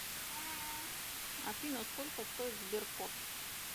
афина сколько стоит сберкот